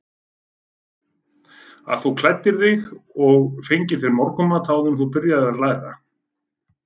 Að þú klæddir þig og fengir þér morgunmat áður en þú byrjaðir að læra?